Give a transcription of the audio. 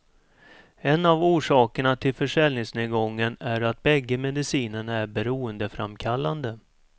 En av orsakerna till försäljningsnedgången är att bägge medicinerna är beroendeframkallande.